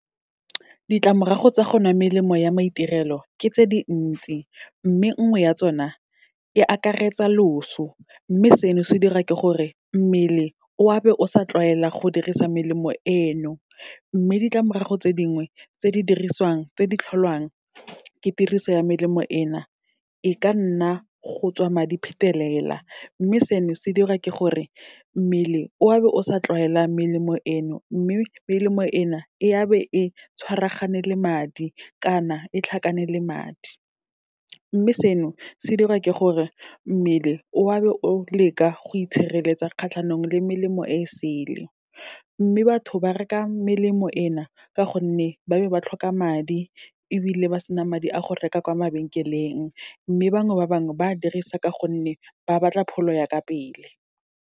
Ditlamorago tsa go nwa melemo ya maitirelo, ke tse dintsi. Mme nngwe ya tsona, e akaretsa loso, mme seno se dira ke gore, mmele o a be o sa tlwaela go dirisa melemo eno. Mme ditlamorago tse dingwe tse di dirisiwang, tse di tlholwang ke tiriso ya melemo ena, e ka nna go tswa madi phetelela, mme seno se dirwa ke gore, mmele o a be o sa tlwaela melemo eno, mme melemo ena e a be e tshwaragane le madi kana e tlhakane le madi. Mme seno, se dirwa ke gore, mmele o be o leka go itshireletsa kgatlhanong le melemo e e sele. Mme batho ba reka melemo ena, ka gonne ba be ba tlhoka madi ebile ba sena madi a go reka kwa mabenkeleng, mme bangwe ba bangwe, ba dirisa ka gonne ba batla pholo ya ka pele.